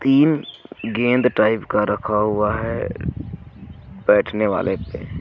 तीन गेंद टाइप का रखा हुआ है बैठने वाले पे।